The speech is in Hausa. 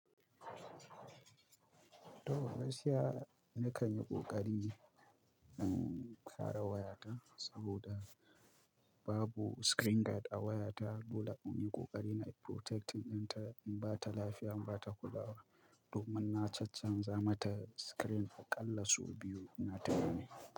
Toh gaskiyana kanyi ƙoƙari in kare wayata saboda babu screen guard a wayata, dole in yi kokari na protecting don in ba ta lafiya, in ba ta kulawa. Domin na caccanza mata screen aƙalla sau biyu ina tunani.